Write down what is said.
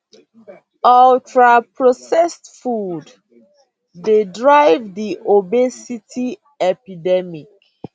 ultraprocessed food dey drive di obesity epidemic